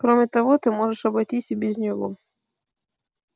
кроме того ты можешь обойтись и без него